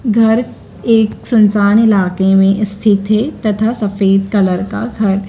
घर एक सुनसान इलाके में स्थित है तथा सफेद कलर का घर--